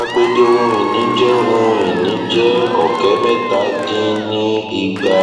agbede ohun ìní jẹ ohun ìní jẹ ọkẹ mẹta dín ní igba